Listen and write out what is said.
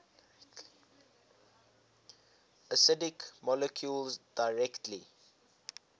acidic molecules directly